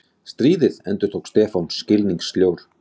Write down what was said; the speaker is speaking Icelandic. Stríðið? endurtók Stefán skilningssljór.